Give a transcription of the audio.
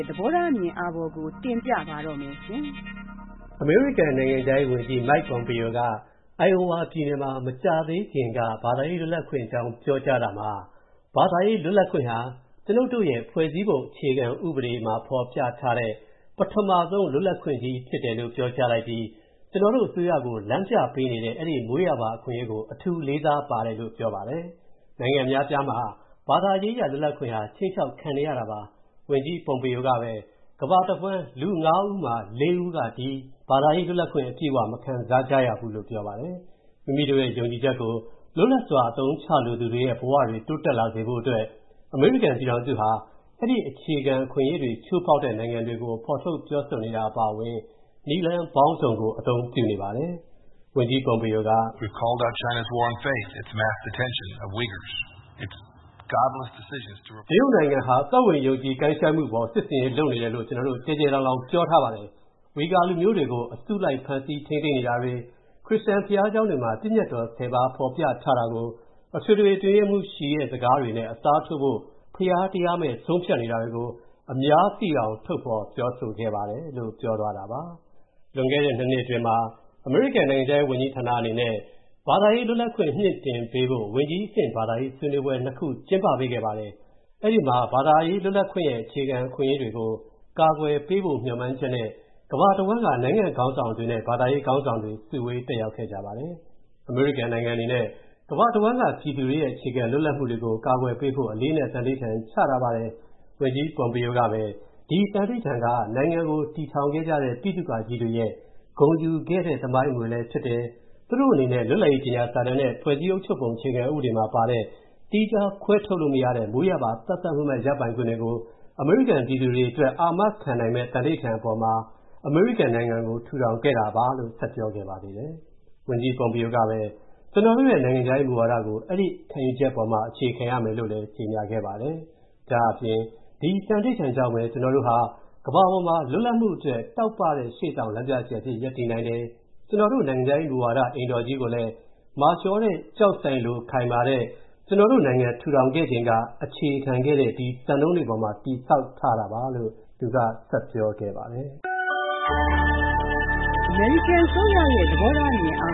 ့ သဘောထားအမြင်အာဘော်ကို တင်ပြပါမယ်။ အမေရိကန် နိုင်ငံခြားရေးဝန်ကြီး Mike Pompeo က အိုင်အိုဝါပြည်နယ်မှာ မကြာသေးခင်က ဘာသာရေးလွတ်လပ်ခွင့်အကြောင်း ပြောကြားတာမှာ- ဘာသာရေးလွတ်လပ်ခွင့်ဟာ ကျွနု်ပ်တို့ရဲ့ ဖွဲ့စည်းပုံအုပ်ချုပ်ပုံ အခြေခံဥပဒေမှာ ဖော်ပြထားတဲ့ “ပထမဆုံး လွတ်လပ်ခွင့်ကြီး” ဖြစ်တယ်လို့ ပြောကြားလိုက်ပြီး၊ "ကျွန်တော်တို့ အစိုးရကို လမ်းပြပေးနေတဲ့ အဲဒီ မွေးရာပါအခွင့်အရေးကို အထူး လေးစားပါတယ်” လို့ ပြောပါတယ်။ နိုင်ငံအများအပြားမှာ ဘာသာရေးအရလွတ်လပ်ခွင့်ဟာ ခြိမ်းခြောက်ခံနေရတာပါ။ ဝန်ကြီး Pompeo ကပဲ ကမ္ဘာတဝှမ်း လူ (၅) ဦးမှာ (၄) ဦးက ဒီ ဘာသာရေးလွတ်လပ်ခွင့် အပြည့်အဝ မခံစားကြရဘူးလို့ ပြောပါတယ်။ မိမိတို့ရဲ့ ယုံကြည်ချက်ကို လွတ်လပ်စွာ အသုံးချလိုတဲ့သူတွေရဲ့ဘဝတွေ တိုးတက်လာဖို့အတွက် အမေရိကန်ပြည်ထောင်စုဟာ အဲဒီအခြေခံ အခွင့်အရေးအတွေကို ချိုးဖောက်တဲ့နိုင်ငံတွေကို ဖော်ထုတ် ပြောဆိုနေတာ အပါအဝင် နည်းလမ်းပေါင်းစုံကို အသုံးပြုနေပါတယ်။ “တရုတ်နိုင်ငံဟာ သက်ဝင်ယုံကြည်ကိုင်းရှိုင်းမူအပေါ် စစ်ဆင်ရေးလုပ်နေတယ်လို့ ကျွန်တော်တို့ ကျယ်ကျယ်လောင်လောင် ပြောထားပါတယ်။ ဝီဂါလူမျိုးတွေကို အစုလိုက် ဖမ်းဆီး ထိန်းသိမ်းနေတာတွေ၊ ခရစ်ယာန်ဘုရားကျောင်းတွေမှာ ပညတ်တော် (၁၀) ပါး ဖော်ပြထားတာကို အထွေထွေအတွင်းရေးမှူး Xi ရဲ့ စကားတွေနဲ့ အစားထိုးဖို့ ဘုရားတရားမဲ့ ဆုံးဖြတ် နေတာတွေကို အများသိအောင် ထုတ်ဖော် ပြောဆိုခဲ့ပါတယ်” လို့ ဝန်ကြီး Pompeo က ပြောသွားတာပါ။ လွန်ခဲ့တဲ့ (၂) နှစ်အတွင်းမှာ အမေရိကန်နိုင်ငံခြားရေးဝန်ကြီးဌာနအနေနဲ့ ဘာသာရေးလွတ်လပ်ခွင့် မြှင့်တင်ပေးဖို့ ဝန်ကြီးအဆင့်ဘာသာရေးဆွေးနွေးပွဲ (၂) ခု ကျင်းပပေးခဲ့ပါတယ်။ အဲ့ဒီမှာ ဘာသာရေးလွပ်ခွင့်ရဲ့ အခြေခံအခွင့်အရေးတွေကို ကာကွယ်ပေးဖို့ မျှော်မှန်းချက်နဲ့ ကမ္ဘာတဝှမ်းက နိုင်ငံ့ခေါင်းဆောင်တွေနဲ့ ဘာသာရေးခေါင်းဆောင်တွေ စုဝေးခဲ့ကြပါတယ်။ အမေရိကန်နိုင်ငံအနေနဲ့ ကမ္ဘာတဝှမ်းက ပြည်သူတွေရဲ့ အခြေခံ လွတ်လပ်မူတွေကို ကာကွယ်ပေးဖို့ အလေးအနက် သန္နိဋ္ဌာန် ချထားပါတယ်။ ဝန်ကြီး Pompeo ကပဲ ဒီ သန္နိဋ္ဌာန် က နိုင်ငံကို တည်ထောင်ခဲ့ကြတဲ့ ဗိသုကာကြီးတွေရဲ့ ဂုဏ်ယူခဲ့တဲ့ သမိုင်းအမွေလည်းဖြစ်တယ်၊ သူတို့အနေနဲ့ လွတ်လပ်ရေးကြေညာစာတမ်းနဲ့ ဖွဲ့စည်းပုံအခြေခံဥပဒေမှာပါတဲ့ သီးခြားခွဲထုတ်လို့ မရနိုင်တဲ့ မွေးရာပါ သတ်သတ်မှတ်မှတ် ရပိုင်ခွင့်တွေကို အမေရိကန်ပြည်သူတွေအတွက် အာမခံပေးနိုင်မယ့် သန္နိဋ္ဌာန် အပေါ်မှာ အမေရိကန်နိုင်ငံကို ထူထောင်ခဲ့တာပါ လို့ ဆက်ပြောခဲ့ပါသေးတယ်။ ဝန်ကြီး Pompeo ကပဲ၊ “ကျနော်တို့ရဲ့ နိုင်ငံခြားရေးမူဝါဒကို အဲဒီ ခံယူချက်ပေါ်မှာ အခြေခံရမယ်” လို့လည်း ကြေညာခဲ့ပါတယ်။ ဒါ့အပြင် “ဒီ သန္နိဋ္ဌာန် ကြောင့်ပဲ၊ ကျွန်တော်တို့ဟာ ကမ္ဘာပေါ်မှာ လွတ်လပ်မူအတွက် တောက်ပတဲ့ ရှေ့ဆောင်လမ်းပြကြယ်အဖြစ် ရပ်တည်နိုင်တယ်၊ ကျွန်တော်တို့ နိုင်ငံခြားရေးမူဝါဒ အိမ်တော်ကြီးကိုလည်း မာကျောတဲ့ ကျောက်စိုင်ခဲနဲ့တူတဲ့ ကျွန်တော်တို့နိုင်ငံထူထောင်ခဲ့ချိန်က အခြေခံခဲ့တဲ့ ဒီ စံနှုန်းတွေအပေါ်မှာပဲ တည်ဆောက်ထားတာပါ” လို့ သူက ဆက်ပြောခဲ့ပါတယ်။ အမေရိကန်အစိုးရရဲ့ သဘောထားအမြင်အာ